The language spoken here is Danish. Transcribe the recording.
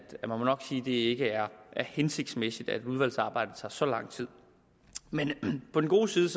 det ikke er hensigtsmæssigt at udvalgsarbejdet tager så lang tid men på den gode side